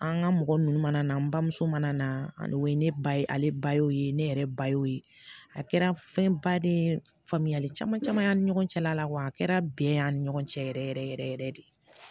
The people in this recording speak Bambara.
An ka mɔgɔ ninnu mana na an bamuso mana na o ye ne ba ye ale ba y'o ye ne yɛrɛ ba y'o ye a kɛra fɛn ba de ye faamuyali caman caman y'an ni ɲɔgɔn cɛla la wa a kɛra bɛɛ y'a ni ɲɔgɔn cɛ yɛrɛ yɛrɛ yɛrɛ yɛrɛ de